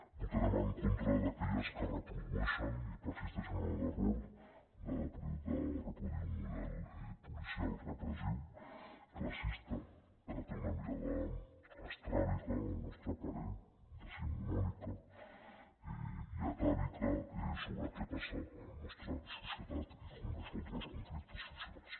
votarem en contra d’aquelles que reprodueixen i persisteixen en l’error de reproduir un model policial repressiu classista que té una mirada estràbica al nostre parer decimonònica i atàvica sobre què passa a la nostra societat i com resoldre els conflictes socials